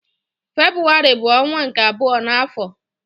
Febrụwarị bu onwa nke abuo na afo